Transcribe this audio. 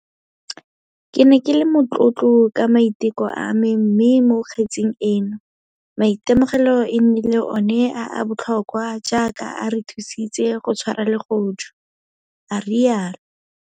Ke ne ke le motlotlo ka maiteko a me mme mo kgetseng eno, maitemogelo e nnile one a a botlhokwa jaaka a re thusitse go tshwara legodu, a rialo.